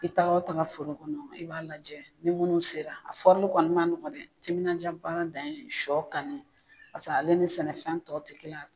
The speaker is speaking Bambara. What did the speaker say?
I taa o taga foro kɔnɔ i b'a lajɛ ni munnu sera a fɔrili kɔni ma nɔgɔ dɛ, timinandiya baara dan ye sɔ kanni pase ale ni sɛnɛfɛn tɔw te kelen a